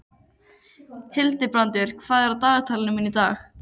Hildibrandur, hvað er á dagatalinu mínu í dag?